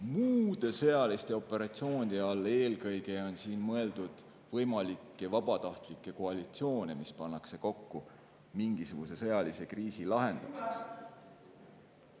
Muude sõjaliste operatsioonide all on mõeldud eelkõige võimalikke vabatahtlikke koalitsioone, mis pannakse kokku mingisuguse sõjalise kriisi lahendamiseks.